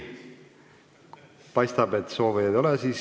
Paistab, et soovijaid ei ole.